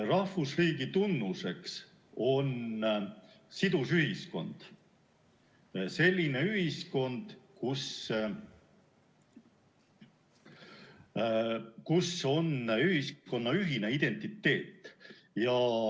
Rahvusriigi tunnuseks on sidus ühiskond, selline ühiskond, kus ühiskonnal on ühine identiteet.